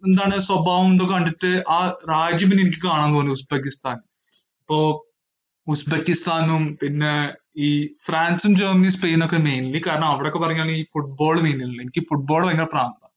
എന്താണ് സ്വഭാവം എന്തോ കണ്ടിട്ട് ആ രാജ്യം തന്നെ എനിക്ക് കാണാൻതോന്നി ഉസ്‌ബെക്കിസ്ഥാൻ, അപ്പോ ഉസ്‌ബെക്കിസ്ഥാനും പിന്നേ ഈ ഫ്രാൻസും ജർമനിയും സ്പെയിനോക്കേ mainly കാരണം അവിടൊക്കെ പറഞ്ഞാല് ഈ football main അല്ലേ, എനിക്ക് football ഭയങ്കര പ്രാന്താ.